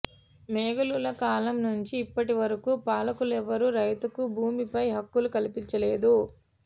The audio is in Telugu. మొఘలుల కాలం నుంచి ఇప్పటి వరకు పాలకులెవ్వరూ రైతుకు భూమిపై హక్కులు కల్పించలేదు